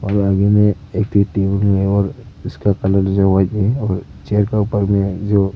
और उसका कलर जो व्हाइट में है और चेयर का ऊपर में जो--